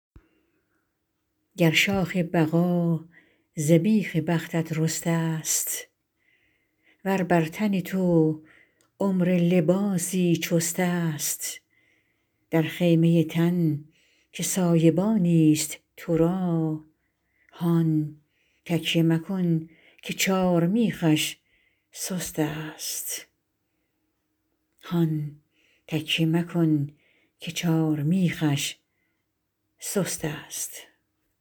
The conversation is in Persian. گر شاخ بقا ز بیخ بختت رسته ست ور بر تن تو عمر لباسی چست است در خیمه تن که سایبانی ست تو را هان تکیه مکن که چارمیخش سست است